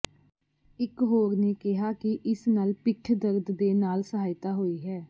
ਇਕ ਹੋਰ ਨੇ ਕਿਹਾ ਕਿ ਇਸ ਨਾਲ ਪਿੱਠ ਦਰਦ ਦੇ ਨਾਲ ਸਹਾਇਤਾ ਹੋਈ ਹੈ